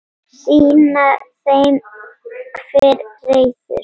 Sýna þeim hver ræður.